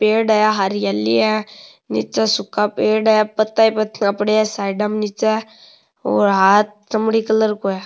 पेड़ है हरियाली है निचे सूखा पेड़ है पत्ता ही पत्ता पड़या है साइडा में निचे और हाथ चमड़ी कलर को है।